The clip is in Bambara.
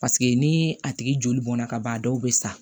Paseke ni a tigi joli bɔnna ka ban a dɔw bɛ sa